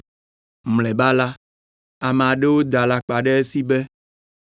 Mlɔeba la, ame aɖewo da alakpa ɖe esi be,